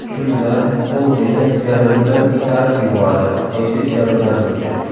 Shunda u meni derazadan itarib yubordi”, deydi jabrlanuvchi.